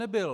Nebyl.